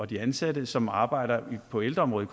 de ansatte som arbejder på ældreområdet